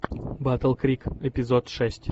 батл крик эпизод шесть